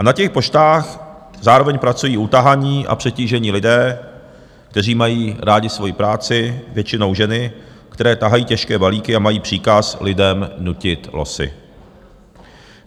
A na těch poštách zároveň pracují utahaní a přetížení lidé, kteří mají rádi svoji práci, většinou ženy, které tahají těžké balíky a mají příkaz lidem nutit losy.